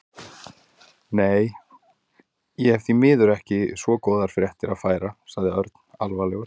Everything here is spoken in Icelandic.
Nei, ég hef því miður ekki svo góðar fréttir að færa sagði Örn alvarlegur.